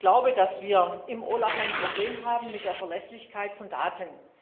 Ich glaube, dass wir im OLAF ein Problem haben mit der Verlässlichkeit von Daten.